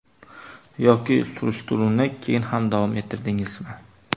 Yoki surishtiruvni keyin ham davom ettirdingizmi?